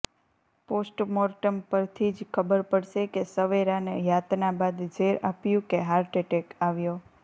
postmortem પરથી જ ખબર પડશે કે સવેરાને યાતના બાદ ઝેર આપ્યું કે હાર્ટ એટેક આવ્યો